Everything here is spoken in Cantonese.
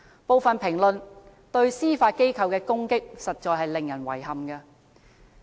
部分評論對司法機構的攻擊實在令人遺憾。